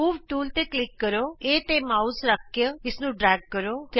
move tool ਤੇ click ਕਰੋ A ਤੇ ਮਾਉਸ ਸੂਚਕ ਰੱਖੋ ਅਤੇ ਇਸਨੂੰ ਖਿੱਚੋ